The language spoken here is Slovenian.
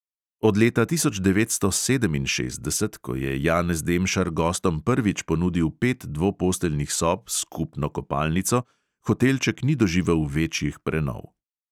Od leta tisoč devetsto sedeminšestdeset, ko je janez demšar gostom prvič ponudil pet dvoposteljnih sob s skupno kopalnico, hotelček ni doživel večjih prenov.